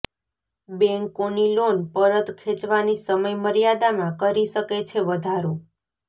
બેંકોની લોન પરત ખેંચવાની સમય મર્યાદામાં કરી શકે છે વધારો